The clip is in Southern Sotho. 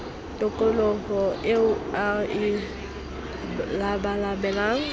tokoloho eo a e labalabelang